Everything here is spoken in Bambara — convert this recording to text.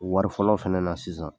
Wari fɔlɔ fana na sisan.